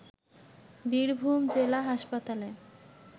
বীরভূম জেলা হাসপাতালে